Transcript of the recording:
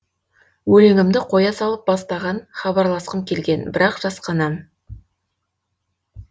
өлеңімді қоя салып бастаған хабарласқым келген бірақ жасқанам